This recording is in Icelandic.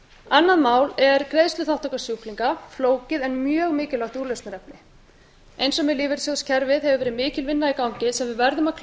annað mál er greiðsluþátttaka sjúklinga flókið en mjög mikilvægt úrlausnarefni eins og með lífeyrissjóðakerfið hefur verið mikil vinna í gangi sem við verðum að klára